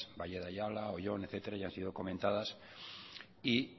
valle de ayala oyón etcétera y han sido comentadas y